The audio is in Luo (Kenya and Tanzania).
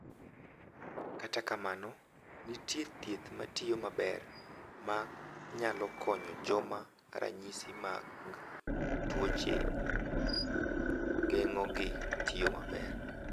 Kata kamano, nitie thieth ma tiyo maber ma nyalo konyo joma ranyisi mag tuoche geng’ogi tiyo maber.